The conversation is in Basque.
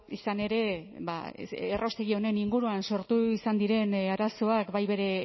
izan ere ba erraustegi honen inguruan sortu izan diren arazoak bai bere